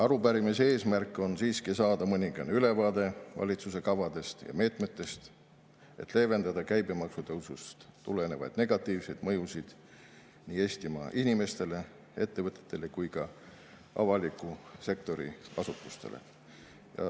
Arupärimise eesmärk on saada mõningane ülevaade valitsuse kavadest ja meetmetest, et leevendada käibemaksu tõusust tulenevaid negatiivseid mõjusid nii Eestimaa inimestele, ettevõtetele kui ka avaliku sektori asutustele.